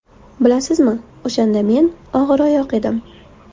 Bilasizmi, o‘shanda men og‘iroyoq edim.